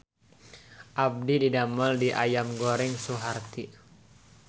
Abdi didamel di Ayam Goreng Suharti